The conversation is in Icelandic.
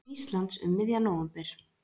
Íslands um miðjan nóvember.